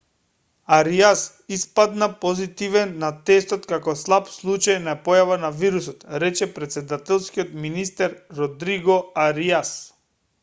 ариас испадна позитивен на тестот како слаб случај на појава на вирусот рече претседателскиот министер родриго ариас